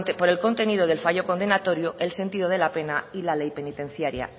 por el contenido del fallo condenatorio el sentido de la pena y la ley penitenciaria